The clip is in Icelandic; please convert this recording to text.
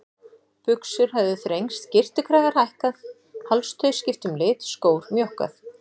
Buxur höfðu þrengst, skyrtukragar hækkað, hálstau skipt um lit, skór mjókkað.